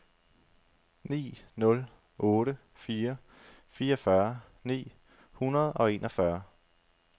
ni nul otte fire fireogfyrre ni hundrede og enogfyrre